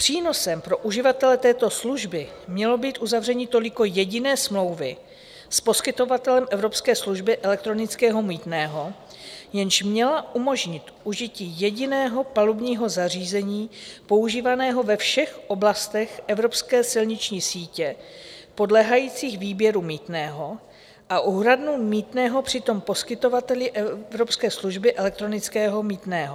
Přínosem pro uživatele této služby mělo být uzavření toliko jediné smlouvy s poskytovatelem evropské služby elektronického mýtného, jež měla umožnit užití jediného palubního zařízení používaného ve všech oblastech evropské silniční sítě podléhajících výběru mýtného a úhradu mýtného při tom poskytovateli evropské služby elektronického mýtného.